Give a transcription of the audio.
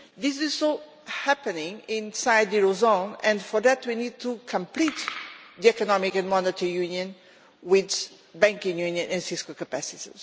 It is happening too inside the eurozone, and for that we need to complete economic and monetary union with banking union and fiscal capacity.